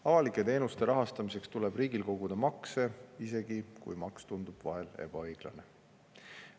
Avalike teenuste rahastamiseks tuleb riigil koguda makse, isegi kui maks tundub vahel ebaõiglane.